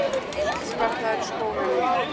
Lítill sparnaður í skólunum